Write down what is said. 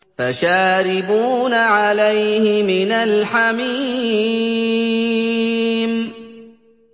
فَشَارِبُونَ عَلَيْهِ مِنَ الْحَمِيمِ